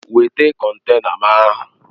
Weta kọntena m ahụ!